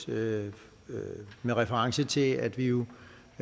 med reference til at vi jo